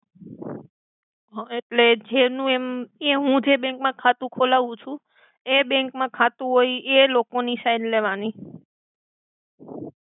Okay એટ્લે જેનુ એમ હુ જે બેંક મા ખાતુ ખોલાવુ છુ એ બેંક મા ખાતુ હોય એ લોકો ની સઇન લેવાની.